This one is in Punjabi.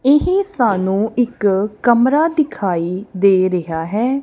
ਇਹੀ ਸਾਨੂੰ ਇੱਕ ਕਮਰਾ ਦਿਖਾਈ ਦੇ ਰਿਹਾ ਹੈ।